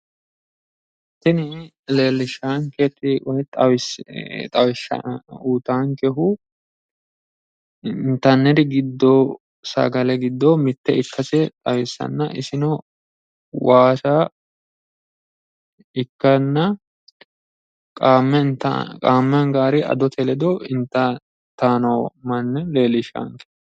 tini leellishshaankehu woyi uyiitaankehu intanniri giddo sagale giddo mitto ikkase xawissanna isino waasa ikkanna qaamme anganniri adote ledo itanno manna leellishshanno.